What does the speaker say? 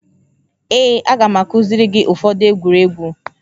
Ee, a ga m akuziri gị ụfọdụ egwu egwuregwu